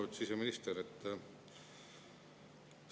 Lugupeetud siseminister!